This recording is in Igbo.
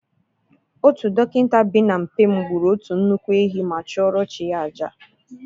Otu dọkịta bi n’mp m gburu otu nnukwu ehi ma chụọrọ chi ya àjà.